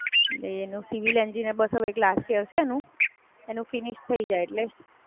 એનું civil engineering બસો બીઆસી હશે એનું, એનું ફિનિશ થય જાય એટલે સરસ. અને પેલી છે એ તો નાઇન્થ માં છે હજુ એટલે એને તો બઉ વાર છે હજુ.